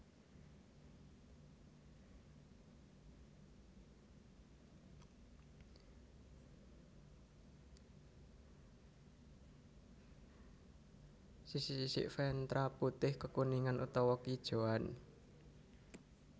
Sisik sisik ventral putih kekuningan utawa keijoan